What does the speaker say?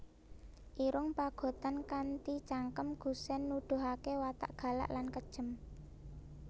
Irung Pagotan kanthi cangkem gusèn nuduhaké watak galak lan kejem